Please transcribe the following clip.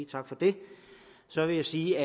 tak for det så vil jeg sige